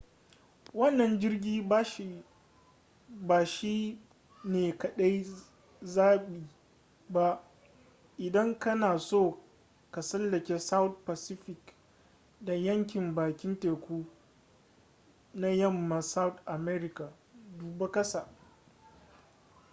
wannan jirgi ba shi ne kadai zabi ba idan kana so ka tsallake south pacific da yankin bakin teku na yamman south america. duba kasa